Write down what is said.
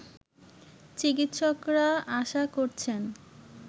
চিকিৎসকরা আশা করছেন